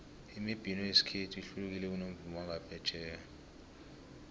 imibhino yekhethu ihlukile kunomvumo wangaphetjheya